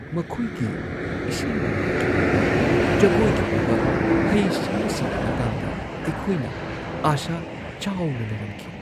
ꯃꯈꯣꯏꯒꯤ ꯏꯁꯩ-ꯅꯣꯡꯃꯥꯏꯒꯤ ꯑꯣꯏꯕ, ꯖꯒꯣꯏꯒꯤ ꯑꯣꯏꯕ ꯍꯩꯁꯤꯡꯕꯁꯤꯡꯒꯤ ꯃꯇꯥꯡꯗ ꯑꯩꯈꯣꯏꯅ ꯑꯥꯁꯥ ꯆꯥꯎꯅ ꯂꯩꯔꯝꯈꯤ꯫